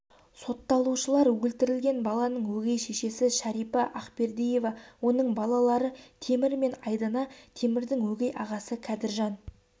сотталушылар өлтірілген баланың өгей шешесі шәрипа ақбердиева оның балалары темір мен айдана темірдің өгей ағасы кәдіржан